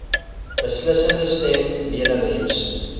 beslissende stem benewens